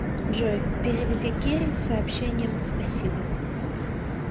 джой переведи кире с сообщением спасибо